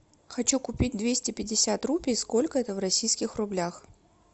хочу купить двести пятьдесят рупий сколько это в российских рублях